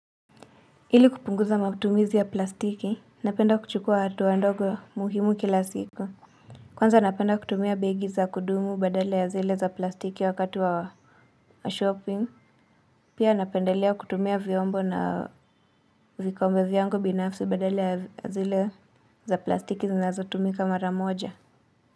Ili kupunguza matumizi ya plastiki napenda kuchukua hatuwa ndogo muhimu kila siku kwanza napenda kutumia begi za kudumu badala ya zile za plastiki wakati wa shopping pia napendelea kutumia vyombo na vikombe vyangu binafsi badala ya zile za plastiki zinazo tumika mara moja.